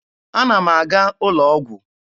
Ana m aga ụlọ ọgwụ.